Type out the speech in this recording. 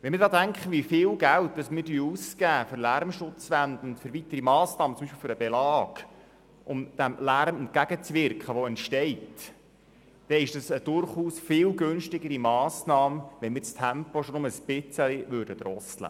Wenn ich daran denke, wie viel Geld wir für Lärmschutzmassnahmen wie für Lärmschutzwände oder für diesen Flüsterbelag ausgeben, dann scheint es mir eine viel günstigere Massnahme zu sein, das Tempo ein bisschen zu drosseln.